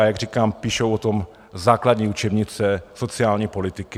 A jak říkám, píšou o tom základní učebnice sociální politiky.